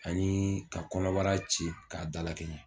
Ani ka kɔnɔbara ci k'a dalakɛɲɛ